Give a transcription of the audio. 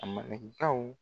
Malenkaw